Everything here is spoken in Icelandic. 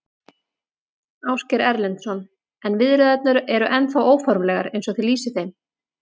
Ásgeir Erlendsson: En viðræðurnar eru ennþá óformlegar eins og þið lýsið þeim?